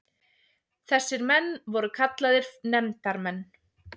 Þessir menn voru kallaðir nefndarmenn.